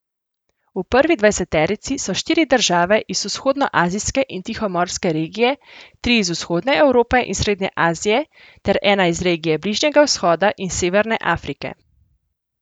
V prvi dvajseterici so štiri države iz vzhodnoazijske in tihomorske regije, tri iz vzhodne Evrope in srednje Azije ter ena iz regije Bližnjega vzhoda in Severne Afrike.